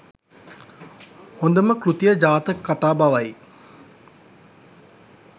හොඳම කෘතිය ජාතක කතා බවයි.